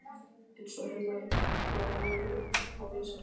Eins og hennar var von og vísa.